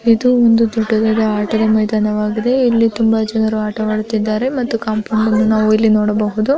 ಇದು ಒಂದು ತುಂಬಾ ದೊಡ್ಡದಾದ ಆಟದ ಮೈ ಧಾನವಾಗಿದೆ ಇಲ್ಲಿ ತುಂಬಾ ಜನರು ಆಟವಾಡುತ್ತಿದ್ದಾರೆ ಒಂದು ಕಾಂಪೌಂಡನ್ನು ನಾವು ನೋಡಬಹುದು.